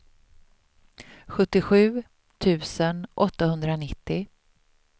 sjuttiosju tusen åttahundranittio